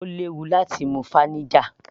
Ó léwu láti mu vinegar